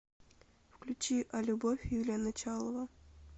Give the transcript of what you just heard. включи а любовь юлия началова